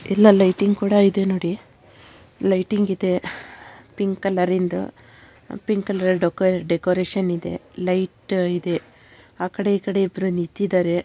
ಎಲ್ಲಾ ಲೈಟಿಂಗ್‌ ಕೂಡ ಇದೆ ನೋಡಿ ಲೈಟಿಂಗ್‌ ಇದೆ ಪಿಂಕ್‌ ಕಲರ್‌ನಿಂದ ಪಿಂಕ್‌ ಕಲರ್‌ನಿಂದ ಡೆಕೋರೇಷನ್‌ ಇದೆ ಲೈಟ್‌ ಇದೆ ಆ ಕಡೆ ಈ ಕಡೆ ಇಬ್ಬರು ನಿಂತಿದ್ದಾರೆ.